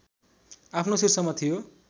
आफ्नो शीर्षमा थियो